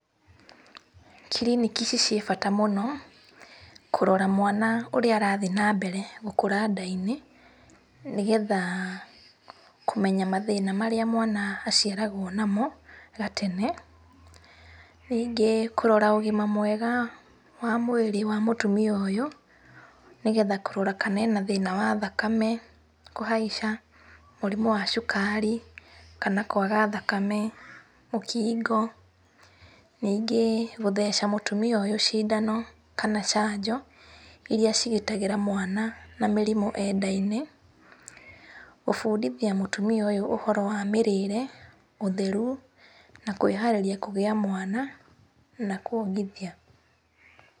Kiriniki ici ciĩ bata mũno kũrora mwana ũrĩa arathiĩ na mbere gũkũra nda-inĩ nĩgetha kũmenya mathĩna marĩa mwana aciaragwo namo gatene. Ningĩ kũrora ũgima mwega wa mwĩrĩ wa mũtumia ũyũ nĩgetha kũrora kana ena thĩna wa thakame kũhaica, mũrimũ wa cukari kana kwaga thakame, mũkingo. Ningĩ gũtheca mũtumia ũyũ cindano kana canjo iria cigitagĩra mwana na mĩrimũ e nda-inĩ. Kũbundithia mũtumia ũyũ ũhoro wa mĩrĩre ũtheru na kwĩharĩria kũgĩa mwana na kuongithia.